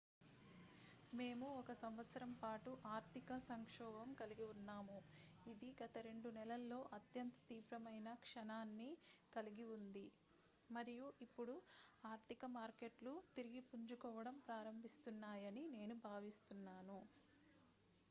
"""మేము ఒక సంవత్సరం పాటు ఆర్థిక సంక్షోభం కలిగి ఉన్నాము ఇది గత రెండు నెలల్లో అత్యంత తీవ్రమైన క్షణాన్ని కలిగి ఉంది మరియు ఇప్పుడు ఆర్థిక మార్కెట్లు తిరిగి పుంజుకోవడం ప్రారంభిస్తున్నాయని నేను భావిస్తున్నాను.""""""